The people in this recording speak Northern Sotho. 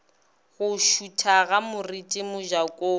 go šutha ga moriti mojakong